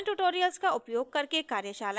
spoken tutorials का उपयोग करके कार्यशालाएं चलाती है